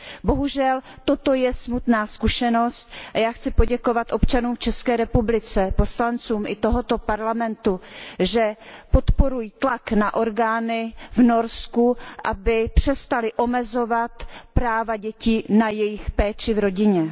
Bohužel toto je smutná zkušenost a já chci poděkovat občanům v ČR, poslancům i tohoto Parlamentu, že podporují tlak na orgány v Norsku, aby přestaly omezovat práva dětí na jejich péči v rodině.